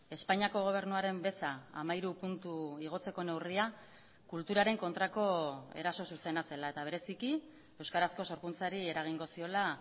espainiako gobernuaren beza hamairu puntu igotzeko neurria kulturaren kontrako eraso zuzena zela eta bereziki euskarazko sorkuntzari eragingo ziola